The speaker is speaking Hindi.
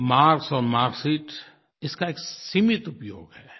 मार्क्स और मार्क्सशीट इसका एक सीमित उपयोग है